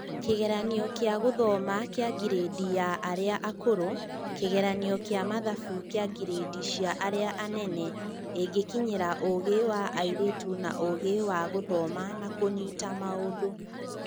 Kĩgeranio kĩa gũthoma kĩa ngirĩndi ya arĩa akũrũ, Kĩgeranio kĩa mathabu kĩa ngirĩndi cia arĩa anane igĩkinyĩra ũgĩ wa airĩtu na ũgĩ wa gũthoma na kũnyita maũndũ.